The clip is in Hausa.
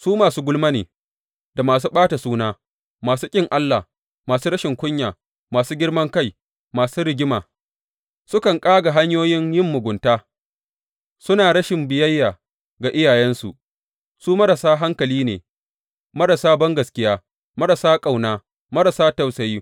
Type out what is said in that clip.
Su masu gulma ne, da masu ɓata suna, masu ƙin Allah, masu rashin kunya, masu girman kai, masu rigima; sukan ƙaga hanyoyin yin mugunta; suna rashin biyayya ga iyayensu; su marasa hankali ne, marasa bangaskiya, marasa ƙauna, marasa tausayi.